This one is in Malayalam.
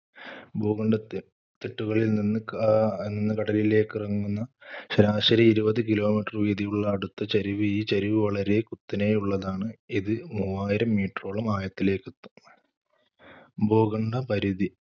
ഭൂഖണ്ഡത്തി~തിട്ടുകളിൽ നിന്ന് ക~കടലിലേക്കിറങ്ങുന്ന ശരാശരി ഇരുപത് kilometer വീതിയുള്ള അടുത്ത ചരിവ്. ഈ ചരിവ് വളരെ കുത്തനെയുള്ളതാണ്. ഇത് മൂവായിരം meter ഓളം ആഴത്തിലേക്കെത്തും. ഭൂഖണ്ഡപരിധി